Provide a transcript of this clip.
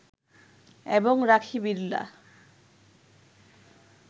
এবং রাখি বিড়লা